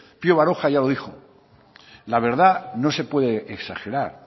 pio baroja ya lo dijo la verdad no se puede exagerar